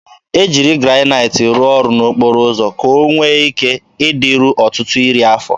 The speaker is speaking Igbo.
E jiri Granaịt rụọ ọrụ n'okporo ụzọ ka ọ nwee ike ịdịru ọtụtụ iri afọ.